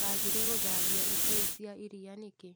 Wagire gũthambia ibũyũ cia iria nĩkĩ.